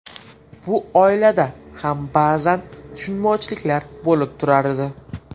Bu oilada ham ba’zan tushunmovchiliklar bo‘lib turardi.